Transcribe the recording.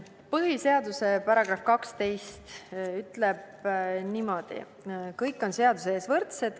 Põhiseaduse § 12 ütleb niimoodi: "Kõik on seaduse ees võrdsed.